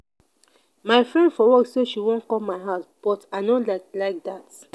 my friend for work say she wan come my house but i no like like dat.